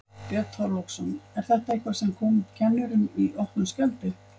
Björn Þorláksson: Er þetta eitthvað sem kom kennurum í opna skjöldu?